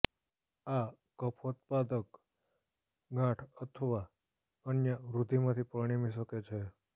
આ કફોત્પાદક ગાંઠ અથવા અન્ય વૃદ્ધિમાંથી પરિણમી શકે છે